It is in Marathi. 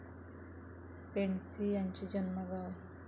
पेंडसे यांचे जन्मगाव आहे.